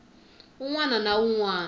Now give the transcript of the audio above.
un wana na un wana